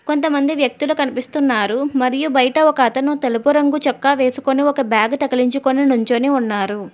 కొంతమంది వ్యక్తులు కనిపిస్తున్నారు మరియు బయట ఒక అతను తెలుపు రంగు చొక్కా వేసుకొని ఒక బ్యాగు తగిలించికొని నించొని ఉన్నారు.